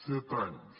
set anys